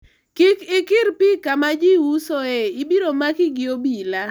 kik ikir pi kama ji usoe ibiro maki gi obila